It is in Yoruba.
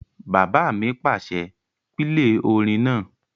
Bàbá mi pàṣẹ, "pílè orin náà!"